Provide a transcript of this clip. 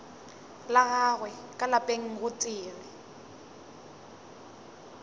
la gagwe ka lapeng gotee